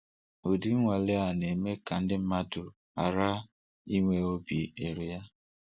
Udi nnwale a na-eme ka ndị mmadụ ghara inwe obi iru ala.